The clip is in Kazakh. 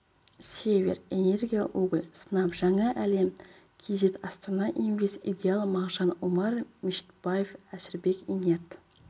север энерго уголь снаб жаңа әлем кз астана инвест идеал магжан умар мешітбаев әшірбек инерт